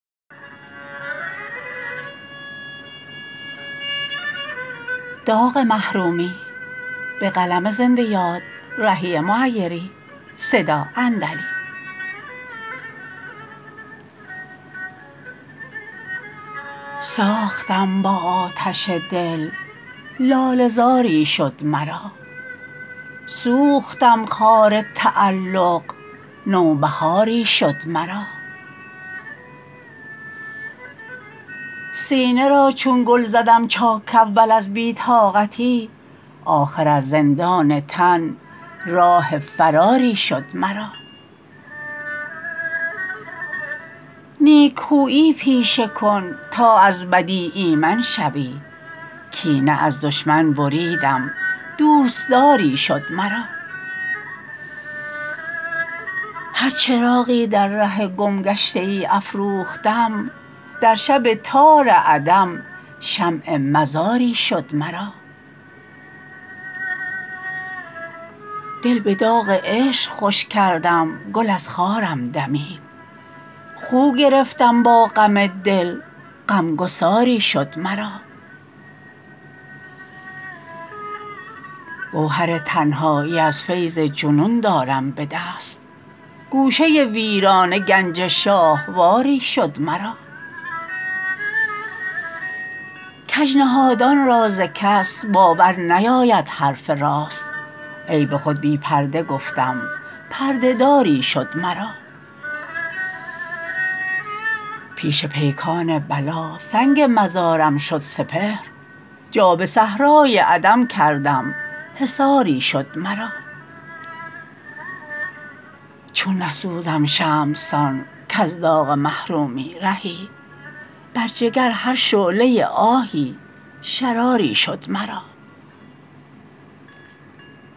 ساختم با آتش دل لاله زاری شد مرا سوختم خار تعلق نوبهاری شد مرا سینه را چون گل زدم چاک اول از بی طاقتی آخر از زندان تن راه فراری شد مرا نیکخویی پیشه کن تا از بدی ایمن شوی کینه از دشمن بریدم دوستداری شد مرا هر چراغی در ره گمگشته ای افروختم در شب تار عدم شمع مزاری شد مرا دل به داغ عشق خوش کردم گل از خارم دمید خو گرفتم با غم دل غمگساری شد مرا گوهر تنهایی از فیض جنون دارم به دست گوشه ویرانه گنج شاهواری شد مرا کج نهادان را ز کس باور نیاید حرف راست عیب خود بی پرده گفتم پرده داری شد مرا پیش پیکان بلا سنگ مزارم شد سپهر جا به صحرای عدم کردم حصاری شد مرا چون نسوزم شمع سان کز داغ محرومی رهی بر جگر هر شعله آهی شراری شد مرا